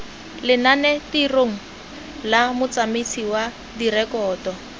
lenanetirong la motsamaisi wa direkoto